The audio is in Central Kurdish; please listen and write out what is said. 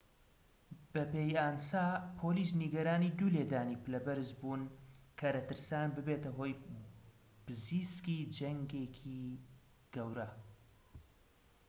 بەپێی ئانسا پۆلیس نیگەرانی دوو لێدانی پلە بەرز بوون کە دەترسان ببێتە هۆی پزیسکی جەنگێكی گەورە